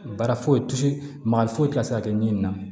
Baara foyi ti se magali foyi ti se ka kɛ ɲi na